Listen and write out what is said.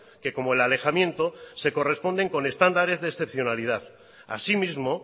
que como el alejamiento se corresponden con estándares de excepcionalidad asimismo